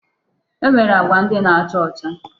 E nwere agwa ndị na-acha ọcha.